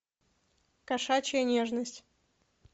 кошачья нежность